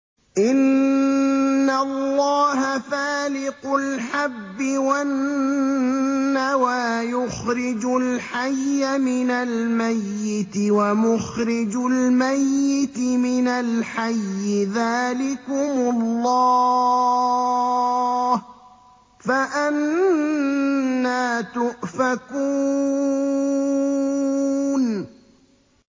۞ إِنَّ اللَّهَ فَالِقُ الْحَبِّ وَالنَّوَىٰ ۖ يُخْرِجُ الْحَيَّ مِنَ الْمَيِّتِ وَمُخْرِجُ الْمَيِّتِ مِنَ الْحَيِّ ۚ ذَٰلِكُمُ اللَّهُ ۖ فَأَنَّىٰ تُؤْفَكُونَ